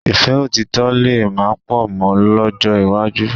Ìfẹ́ òtítọ̀ lè má pọ̀ mọ́ lọ́jọ́ iwájú